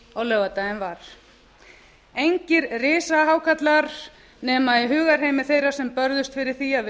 á laugardaginn var engir risahákarlar nema í hugarheimi þeirra sem börðust fyrir því að við